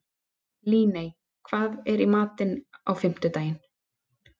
Líney, hvað er í matinn á fimmtudaginn?